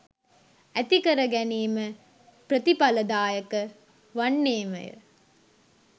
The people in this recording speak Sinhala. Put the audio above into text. ඇතිකර ගැනීම ප්‍රතිඵලදායක වන්නේමය.